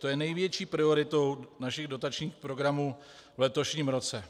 To je největší prioritou našich dotačních programů v letošním roce.